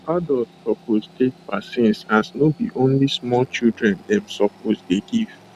um adult suppose take vaccines as no be only smallchildren dem suppose dey give